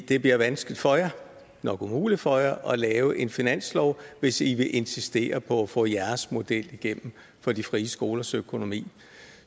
det bliver vanskeligt for jer nok umuligt for jer at lave en finanslov hvis i vil insistere på at få jeres model igennem for de frie skolers økonomi